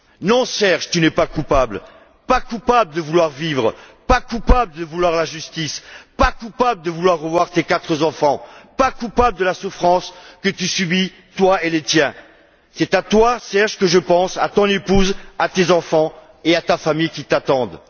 Non, Serge, tu n'es pas coupable, pas coupable de vouloir vivre, pas coupable de vouloir la justice, pas coupable de vouloir revoir tes quatre enfants, pas coupable de la souffrance que vous subissez, toi et les tiens. C'est à toi, Serge, que je pense, à ton épouse, à tes enfants et à ta famille, qui t'attendent.